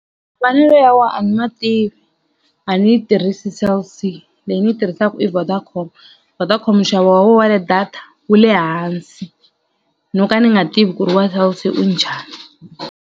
ya wona a ni ma tivi a ni yi tirhisi Cell C leyi ni yi tirhisaka i Vodacom. Vodacom nxavo wa wo wa ti-data wu le hansi no ka ni nga tivi ku ri wa Cell C wu njhani.